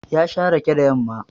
Ya sha rake da yamma